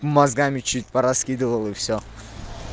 мозгами чуть по раскидывал и всё